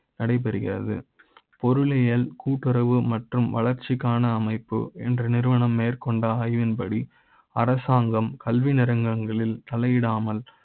நடைபெறுகிறது பொரு ளி யல் கூட்டுறவு மற்றும் வளர்ச்சி க்கான அமைப்பு என்ற நிறுவன ம் மேற்கொண்ட ஆய்வின் படி அரசாங்க ம். கல்வி நேரங்களில் தலையிடாமல்